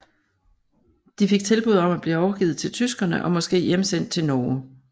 De fik tilbud om at blive overgivet til tyskerne og måske hjemsendt til Norge